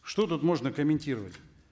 что тут можно комментировать